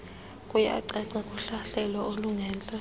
kuyacaca kuhlahlelo olungentla